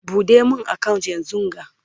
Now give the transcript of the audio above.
ɓuɗe min account yanzunga!